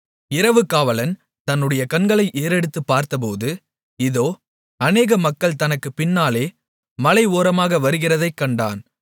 இரவுக்காவலன் தன்னுடைய கண்களை ஏறெடுத்துப் பார்த்தபோது இதோ அநேக மக்கள் தனக்குப் பின்னாலே மலை ஓரமாக வருகிறதைக் கண்டான்